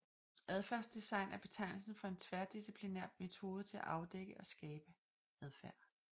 Adfærdsdesign er betegnelsen for en tværdisciplinær metode til at afdække og skabe adfærd